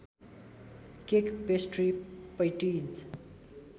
cake pastry patties